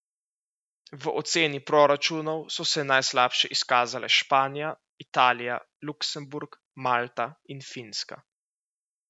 V oceni proračunov so se najslabše izkazale Španija, Italija, Luksemburg, Malta in Finska.